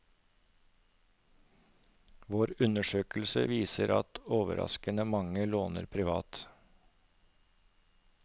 Vår undersøkelse viser at overraskende mange låner privat.